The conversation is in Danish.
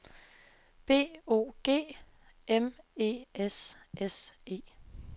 B O G M E S S E